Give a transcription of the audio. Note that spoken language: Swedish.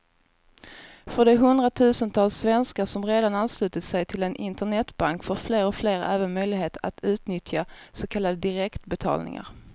För de hundratusentals svenskar som redan anslutit sig till en internetbank får fler och fler även möjlighet att utnyttja så kallade direktbetalningar.